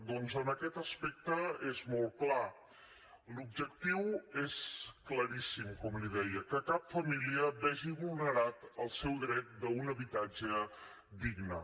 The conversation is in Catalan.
doncs en aquest aspecte és molt clar l’objectiu és claríssim com li deia que cap família vegi vulnerat el seu dret a un habitatge digne